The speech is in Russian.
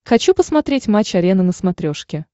хочу посмотреть матч арена на смотрешке